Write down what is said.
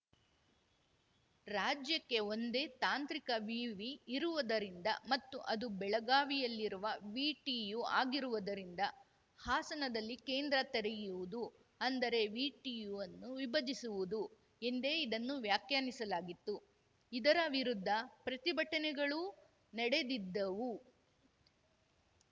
ರಾಜ್ಯಕ್ಕೆ ಒಂದೇ ತಾಂತ್ರಿಕ ವಿವಿ ಇರುವುದರಿಂದ ಮತ್ತು ಅದು ಬೆಳಗಾವಿಯಲ್ಲಿರುವ ವಿಟಿಯು ಆಗಿರುವುದರಿಂದ ಹಾಸನದಲ್ಲಿ ಕೇಂದ್ರ ತೆರೆಯುವುದು ಅಂದರೆ ವಿಟಿಯುವನ್ನು ವಿಭಜಿಸುವುದು ಎಂದೇ ಇದನ್ನು ವ್ಯಾಖ್ಯಾನಿಸಲಾಗಿತ್ತು ಇದರ ವಿರುದ್ಧ ಪ್ರತಿಭಟನೆಗಳೂ ನೆಡೆದಿದ್ದವು